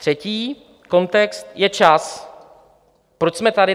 Třetí kontext je čas, proč jsme tady.